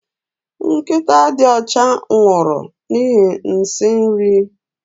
Nkịta dị ọcha nwụrụ n'ihi nsị nri